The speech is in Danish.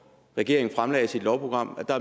regeringen fremlagde sit lovprogram